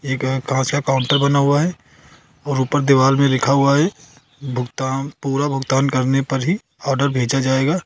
एक यहां कांच का काउंटर बना हुआ है और ऊपर दीवाल में लिखा हुआ है भुगतान पूरा भुगतान करने पर ही ऑर्डर भेजा जाएगा।